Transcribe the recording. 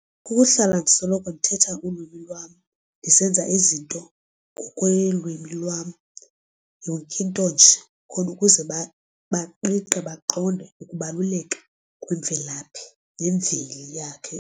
Kukuhlala ndisoloko ndithetha ulwimi lwam ndisenza izinto ngokwelwimi lwam yonke into nje khona ukuze baqiqe baqonde ukubaluleka kwemvelaphinyemveli yakhe.